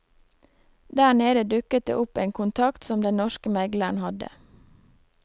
Der nede dukket det opp en kontakt som den norske megleren hadde.